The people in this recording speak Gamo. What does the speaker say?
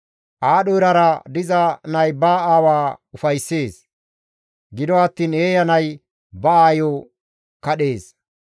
Aadho erara diza nay ba aawa ufayssees; gido attiin eeya nay ba aayo kadhees.